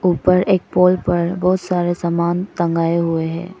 ऊपर एक पोल पर बहुत सारे सामान टंगाये हुए हैं।